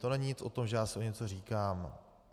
To není nic o tom, že já si o něco říkám.